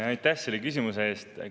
Aitäh selle küsimuse eest!